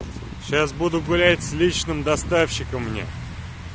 сейчас буду гулять с личным доставщиком мне